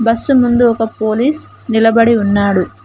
Bus ముందు ఒక police నిలబడి ఉన్నాడు.